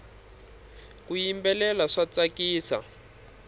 ku yimbelela swa tsakisa